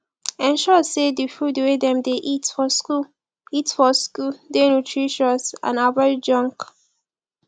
ensure sey di food wey dem dey eat for school eat for school dey nutritious and avoid junk